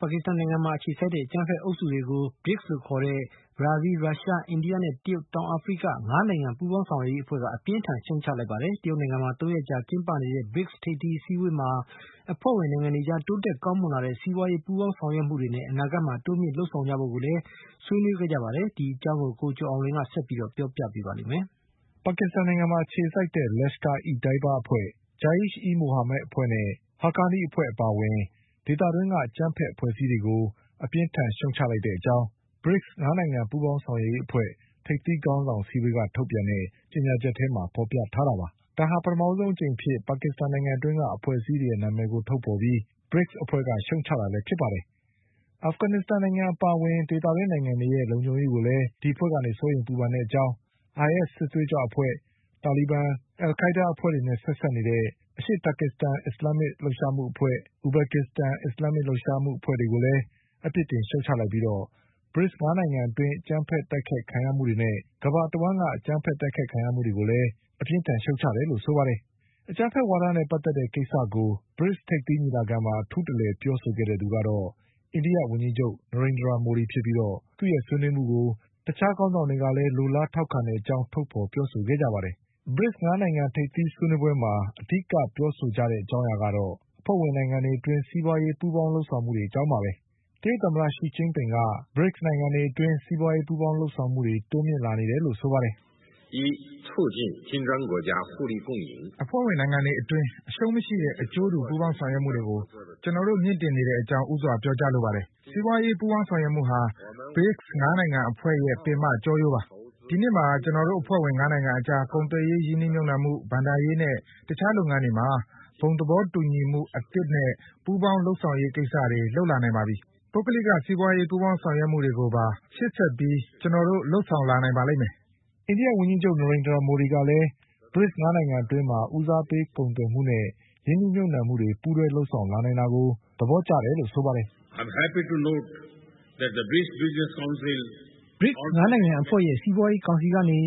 ပါကစ္စတန်နိုင်ငံမှာ အခြေစိုက်တဲ့ အကြမ်းဖက်အုပ်စုတွေကို BRICS လို့ခေါ်တဲ့ ဘရာဇီး၊ ရုရှား၊ အိန္ဒိယ၊ တရုတ်နဲ့ တောင်အာဖရိက ၅နိုင်ငံပူးပေါင်းရွက်ရေးအဖွဲ့က အပြင်းအထန် ရှုတ်ချ လိုက်ပါတယ်။ တရုတ်နိုင်ငံမှာ ၃ရက်ကြာကျင်းပ နေတဲ့ BRICS ၅နိုင်ငံထိပ်သီးဆွေးနွေးပွဲမှာ အဖွဲ့ဝင်နိုင်ငံတွေအကြား တိုးတက်ကောင်းမွန်လာနေတဲ့ စီးပွါးရေးပူးပေါင်း ဆောင်ရွက်မှုတွေနဲ့ အနာဂတ်မှာတိုးမြင့်လုပ်ဆောင်ကြဖို့ကိုလည်းဆွေးနွေးခဲ့ကြပါတယ်။ ဒီအကြောင်း ကိုကျော် အောင်လွင်က ဆက်ပြီးပြောပြပါလိမ့်မယ်။ ပါကစ္စတန်နိုင်ငံမှာအခြေစိုက်တဲ့ Lashkar-e- Taiba အဖွဲ့၊ Jaish-e-Mohammed အဖွဲ့နဲ့ Haqqani အဖွဲ့အပါအဝင် ဒေသတွင်းက အကြမ်းဖက်အဖွဲ့အစည်းတွေကို အပြင်းအထန်ရှုတ်ချတဲ့အကြောင်း BRICS ၅နိုင်ငံပူးပေါင်းဆောင်ရွက် ရေးအဖွဲ့ ထိပ်သီးခေါင်းဆောင်အစည်းအဝေးက ထုတ်ပြန်တဲ့ကြေညာချက်ထဲမှာဖေါ်ပြထားတာပါ။ ဒါဟာ ပထမဆုံး အကြိမ်အဖြစ် အဖွဲ့ အစည်းနာမည်တွေကိုထုတ်ဖေါ်ပြီး BRICS အဖွဲ့က ရှုတ်ချတာလည်းဖြစ်ပါတယ်။ အာဖဂန်နစ္စတန် နိုင်ငံ အပါအဝင်ဒေသတွင်းနိုင်ငံတွေရဲ့ လုံခြုံရေးကိုလည်း စိုးရိမ်ပူပန်တဲ့အကြောင်း IS စစ်သွေးကြွအဖွဲ့၊ တာလီဘန်၊ အလ်ခိုင်းဒါးနဲ့ဆက်စပ်နေတဲ့ အရှေ့တာကစ္စတန် အစ္စလမ်းမစ်လှုပ်ရှားမှုအဖွဲ့၊ အူဘက်ကစ္စတန် အစ္စလာမ်မစ်လှုပ်ရှားမှု အဖွဲ့တွေကိုလည်း အပြစ်တင် ရှုတ်ချပြီး BRICS ၅နိုင်ငံအတွင်း အကြမ်းဖက်တိုက်ခိုက်ခံရမှုတွေနဲ့ကမ္ဘာတဝှမ်းက အကြမ်းဖက်တိုက်ခိုက်ခံရ မှုတွေကို လည်း ရှုတ်ချတယ်လို့ ဆိုပါတယ်။ အကြမ်းဖက်ဝါဒနဲ့ပတ်သက်တဲ့ကိစ္စကို ထိပ်သီးညီလာခံမှာ အထူးတလည်ပြောဆို တဲ့သူကတော့ အိန္ဒိယဝန်ကြီးချုပ် နရိန်ဒရာမိုဒီဖြစ်ပြီး သူ့ရဲ့ဆွေးနွေးမှုကို တခြားခေါင်းဆောင်တွေကလည်း လိုလား ထောက်ခံတဲ့အကြောင်းထုတ်ဖေါ်ပြောဆိုခဲ့ကြပါတယ်။ ထိပ်သီးဆွေးနွေးပွဲမှာ အဓိကထားပြောဆိုကြတာကတော့ ၅နိုင်ငံအတွင်း စီးပွါးရေးပူးပေါင်းလုပ်ဆောင်မှုတွေအကြောင်းပါပဲ။ တရုတ်သမ္မတရှီကျင်းပင်က အဖွဲ့ဝင်နိုင်ငံတွေအတွင်း စီးပွါးရေးပူးပေါင်လုပ်ဆောင်မှုတွေ တိုးမြင့်လာနေတယ်လို့ဆိုပါတယ်။ “အဖွဲ့ဝင်နိုင်ငံတွေအတွင်း အရှုံးမရှိတဲ့ အကျိုးတူပူးပေါင်းဆောင်ရွက်မှုတွေကို ကျနော်တို့ မြင့်တင်နေတဲ့အကြောင်း ဦးစွာပြောကြားလိုပါတယ်။ စီးပွါးရေးပူးပေါင်းဆောင်ရွက်မှုဟာ BRICS ၅နိုင်ငံအဖွဲ့ရဲ့ပင်မကျောရိုးပါပဲ။ ဒီနှစ်မှာ ကျနော် တို့အဖွဲ့ဝင်၅နိုင်ငံအကြား ကုန်သွယ်ရေးရင်းနှီးမြုတ်နှံမှု၊ ဘဏ္ဍာရေးနဲ့ တခြားလုပ်ငန်းတွေမှာ ဘုံသဘောတူညီမှုအသစ် နဲ့ ပူးပေါင်းလုပ်ဆောင်ရေးကိစ္စတွေ လုပ်လာနိုင်ပါပြီ။ ပုဂ္ဂလိက စီးပွါးရေးပူးပေါင်းဆောင်ရွက်မှုတွေကိုပါ ရှေ့ဆက်ပြီးကျနော်တို့လုပ် ဆောင်လာနိုင်ပါလိမ့်မယ်။” အိန္ဒိယဝန်ကြီးချုပ် မိုဒီကလည်း BRICS ၅နိုင်ငံအတွင်း ဦးစားပေးကုန်သွယ်မှု နဲ့ရင်းနှီးမြုတ်နှံမှုတွေပူးတွဲလုပ်လာ နိုင်တာကို သဘောကျတယ်လို့ဆိုပါတယ်။ “BRICS ၅နိုင်ငံအဖွဲ့ရဲ့စီးပွါးရေးကောင်စီကနေ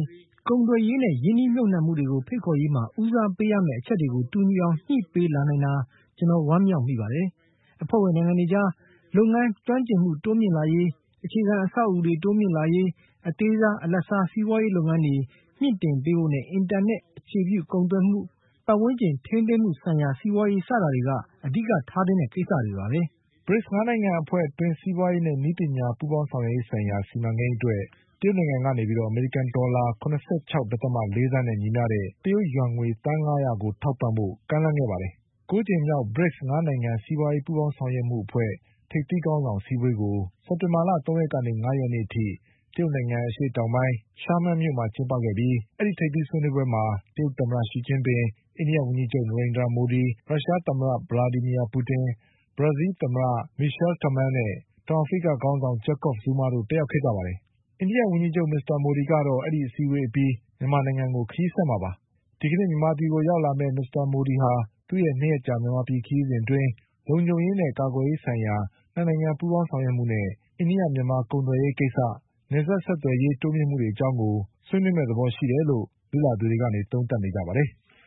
ကုန်သွယ်ရေးနဲ့ရင်းနှီးမြုပ်နှံမှုတွေ ကိုဖိတ်ခေါ်ရေးမှာ ဦးစားပေးရမယ့် အချက်တွေကို တူညီအောင်ညှိနှိုင်းပေးလာနိုင်တာ ကျနော်ဝမ်းမြောက်မိပါတယ်။ အဖွဲ့ဝင်နိုင်ငံတွေအကြား လုပ်ငန်း ကျွမ်းကျင်မှုတိုးမြင့်လာရေး၊ အခြေခံအဆောက်အဦးတွေတိုးမြင့်လာရေး အသေးစား၊ အလတ်စားစီးပွါးရေးလုပ်ငန်းတွေ ကိုမြင့်တင်ပေးဖို့နဲ့ အင်တာနက်အခြေပြုကုန်သွယ်မှု၊ ပတ်ဝန်းကျင်ထိန်းသိမ်းမှုဆိုင်ရာ စီးပွါးရေးစတာတွေက အဓိက ထားသင့်တဲ့ကိစ္စတွေပါပဲ။” BRICS ၅နိုင်ငံအဖွဲ့အတွင်း စီးပွါးရေးနဲ့ နည်းပညာပူးပေါင်းဆောင်ရွက်ရေးဆိုင်ရာ စီမံကိန်း အတွက် တရုတ်နိုင်ငံက အမေရိကန်ဒေါ်လာ ၇၆.၄သန်းနဲ့ညီမျှတဲ့ တရုတ်ယွမ်ငွေ သန်း၅ရာကိုထောက်ပံ့ဖို့ ကမ်းလှမ်းခဲ့ ပါတယ်။ ၉ကြိမ်မြောက် BRICS ၅နိုင်ငံပူးပေါင်းဆောင်ရွက် ရေးအဖွဲ့ ထိပ်သီးခေါင်းဆောင်အစည်းအဝေးကို စက်တင်ဘာလ ၃ရက်ကနေ ၅ရက်နေ့ထိ တရုတ်နိုင်ငံ အရှေ့တောင်ပိုင်း Xiamen မြို့မှာကျင်းပခဲ့ပြီး အဲဒီထိပ်သီးဆွေးနွေးပွဲမှာ တရုတ် သမ္မတ ရှီကျင်းပင်၊အိန္ဒိယဝန်ကြီးချုပ် နရိန်ဒြာမိုဒီ၊ ရုရှားသမ္မတ ဗလာဒီမီယာပူတင်၊ ဘရာဇီးလ်သမ္မတ မီရှလ် တယ်မဲလ်နဲ့ တောင်အာဖရိကခေါင်းဆောင် ဂျက်ကော့ဖ် ဇူးမားတို့တက်ရောက်ခဲ့ကြပါတယ်။ အိန္ဒိဝန်ကြီးချုပ် မိုဒီကတော့ အဲဒီအစည်းအဝေးအပြီး မြန်မာနိုင်ငံကို ခရီးဆက်မှာပါ။ မြန်မာနိုင်ငံကို ဒီကနေ့ရောက်လာမယ့် မစ္စမိုဒီ ဟာ သူ့ရဲ့၂ရက်ကြာမြန်မာပြည်ခရီးစဉ်အတွင်း လုံခြုံရေးနဲ့ ကာကွယ်ရေးဆိုင်ရာ ၂နိုင်ငံပူးပေါင်းဆောင်ရွက်မှုနဲ့ အိန္ဒိယ-မြန်မာကုန်သွယ်ရေး၊ နယ်စပ်ဆက်သွယ်ရေး တိုးတက်မှုတွေအကြောင်းဆွေးနွေးမယ့်သဘောရှိတယ်လို့ လေ့လာသူတွေက သုံးသပ်နေကြပါတယ်။